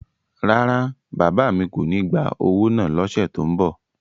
Rárá, bàbá mi kò ní gba owó náà l'ọ́ṣẹ́ tó n bọ̀